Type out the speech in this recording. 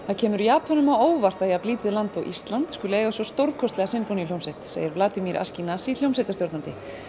það kemur Japönum á óvart að jafn lítið land og Ísland eigi svona stórkostlega sinfóníuhljómsveit segir Vladimir hljómsveitarstjóri en